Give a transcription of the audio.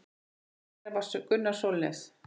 Einn þeirra var Gunnar Sólnes.